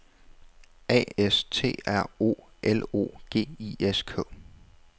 A S T R O L O G I S K